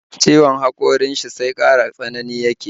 Ciwon haƙorin shi sai ƙara tsanani yake